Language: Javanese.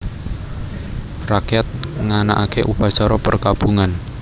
Rakyat nganakaké upacara perkabungan